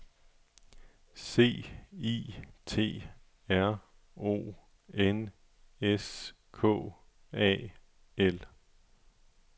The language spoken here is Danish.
C I T R O N S K A L